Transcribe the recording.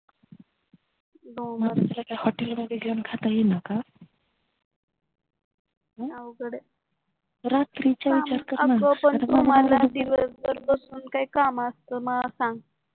hotel मध्ये घेऊन खाता येईनाका अवघडय रात्रीचा विचार करणार ना अग मला दिवस भर बसून काही काम असता ना मला सांग